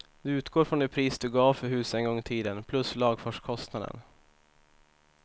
Du utgår från det pris du gav för huset en gång i tiden, plus lagfartskostnaden.